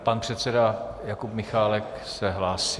Pan předseda Jakub Michálek se hlásí.